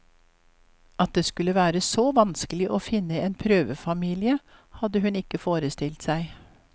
At det skulle være så vanskelig å finne en prøvefamilie hadde hun ikke forestilt seg.